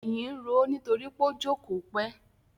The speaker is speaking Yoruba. Èyìn ń roó nítorí pó jókòó pẹ́.